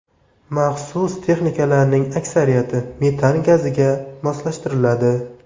Maxsus texnikalarning aksariyati metan gaziga moslashtiriladi.